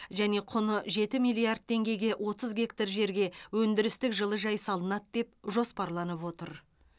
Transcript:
және құны жеті миллиард теңгеге отыз гектар жерге өндірістік жылыжай салынады деп жоспарланып отыр